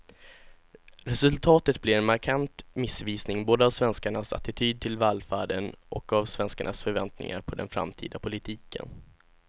Resultatet blir en markant missvisning både av svenskarnas attityd till välfärden och av svenskarnas förväntningar på den framtida politiken.